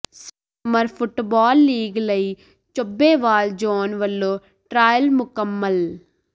summer football league ਲਈ Chabbewal zone ਵੱਲੋਂ trial ਮੁਕੰਮਲ